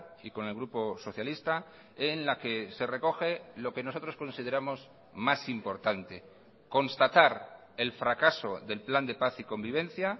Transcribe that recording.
y con el grupo socialista en la que se recoge lo que nosotros consideramos más importante constatar el fracaso del plan de paz y convivencia